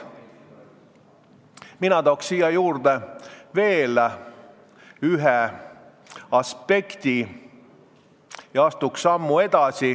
Mina toon siia juurde veel ühe aspekti ja astun sammu edasi.